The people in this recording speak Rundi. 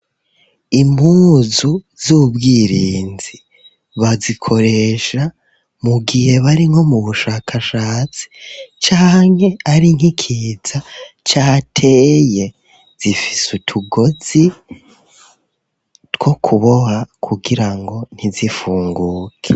Impuzu z'ubwirinzi bazikoresha mu gihe bari nko mu bushakashatsi canke ari nk'ikiza cateye, zifis'utugozi two kuboha kugirango ntizifunguke.